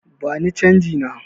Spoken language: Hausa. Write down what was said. Bani canji na!